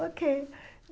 Ok.